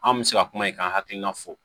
An bɛ se ka kuma in kan hakilina fo